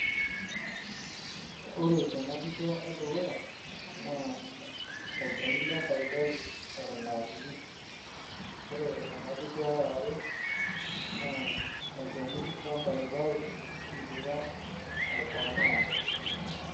kore tanaa pichaa ee dukuyaa naa ee lchenii le mpaipayu eton eraa kinii, kore tanaa pichaa eyaree naa oo lchenii le mpaipayu eidipaa aikomaa